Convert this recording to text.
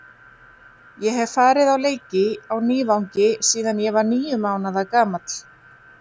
Ég hef farið á leiki á Nývangi síðan ég var níu mánaða gamall.